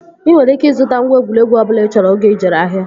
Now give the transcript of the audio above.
Ị nwere ike ịzụta ngwa egwuregwu ọbụla ị chọrọ oge ị jere ahịa